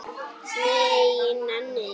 Nei, ég nenni því ekki